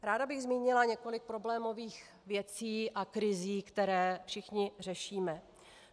Ráda bych zmínila několik problémových věcí a krizí, které všichni řešíme.